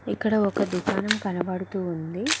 ఇక్కడ ఒక దుకాణం కనబడుతూ ఉంది